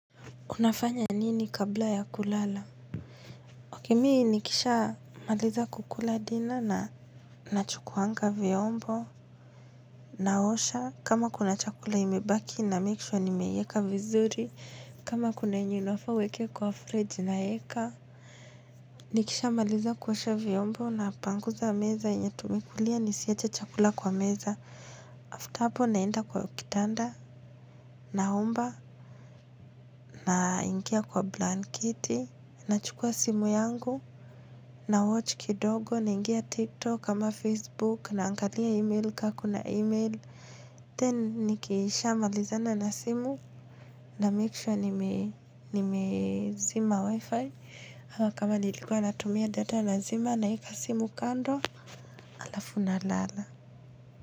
Unafanya nini kabla ya kulala? Okay mimi nikisha maliza kukula diner na nachukuanga vyombo, naosha, kama kuna chakula imebaki na make sure nimeiweka vizuri, kama kuna yenye unfaa uweke kwa fridge naeka. Nikisha maliza kuosha vyombo napanguza meza yenye tumekulia nisiache chakula kwa meza. Tapo naenda kwa kitanda na omba na ingia kwa blanketi. Nachukua simu yangu. Na watch kidogo na ingia tiktok kama facebook na angalia email kakuna email then nikisha malizana na simu na make sure nime zima wifi ama kama nilikuwa natumia data na zima naeka simu kando alafu na lala.